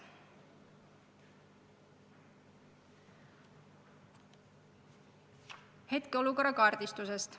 Oleme püüdnud hetkeolukorda kaardistada.